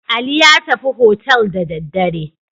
Ali ya tafi hotel da daddare.